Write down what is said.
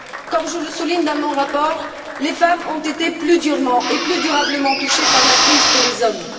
Comme je le souligne dans mon rapport, les femmes ont été plus durement et plus durablement touchées par la crise que les hommes.